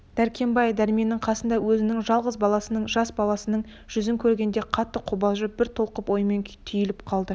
дәркембай дәрменнің қасында өзінің жалғыз баласының жас баласының жүзін көргенде қатты қобалжып бір толқын оймен түйіліп қалды